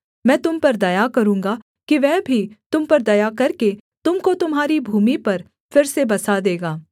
मैं तुम पर दया करूँगा कि वह भी तुम पर दया करके तुम को तुम्हारी भूमि पर फिर से बसा देगा